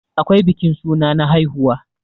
akwai bikin suna na haihuwa